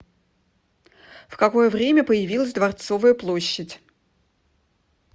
в какое время появилась дворцовая площадь